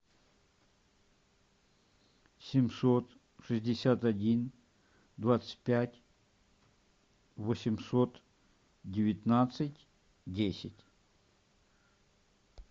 семьсот шестьдесят один двадцать пять восемьсот девятнадцать десять